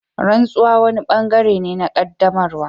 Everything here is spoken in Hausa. Rantsuwa wani bangare ne na qaddamarwa.